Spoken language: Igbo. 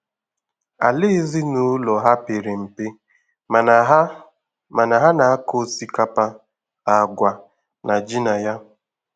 Àlà ezinụlọ ha pere mpe mana ha mana ha na-akọ osikapa, àgwà na ji na ya.